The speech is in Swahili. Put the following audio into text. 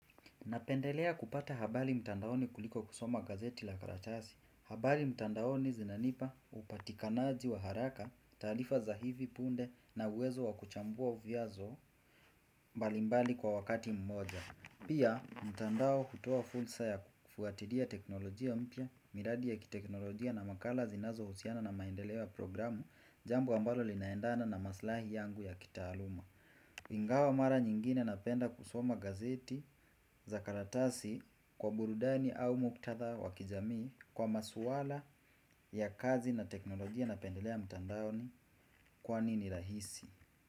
Napendelea kupata habari mtandaoni kuliko kusoma gazeti la karatasi. Habari mtandaoni zinanipa upatikanaji wa haraka, taarifa za hivi punde na uwezo wa kuchambua uviazo mbalimbali kwa wakati mmoja. Pia, mtandao hutoa fursa ya kufuatilia teknolojia mpya miradi ya kiteknolojia na makala zinazo husiana na maendeleo ya programu jambo ambalo linaendana na maslahi yangu ya kitaaluma. Ingawa mara nyingine napenda kusoma gazeti za karatasi kwa burudani au muktadha wa kijamii kwa maswala ya kazi na teknolojia napendelea mtandao kwani ni rahisi.